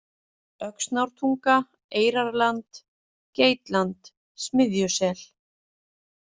Öxnártunga, Eyrarland, Geitland, Smiðjusel